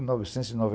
novecentos e noventa